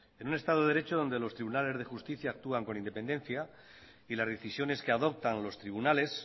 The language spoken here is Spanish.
en un estado de derecho donde los tribunales de justicia actúan con independencia y las decisiones que adoptan los tribunales